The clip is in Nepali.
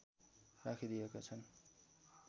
राखिदिएका छन्